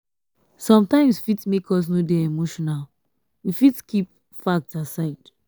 sometimes fit make us no dey emotional we fit keep facts aside